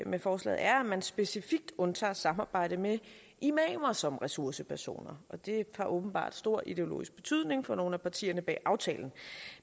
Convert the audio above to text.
med forslaget er at man specifikt undtager samarbejde med imamer som ressourcepersoner og det har åbenbart stor ideologisk betydning for nogle af partierne bag aftalen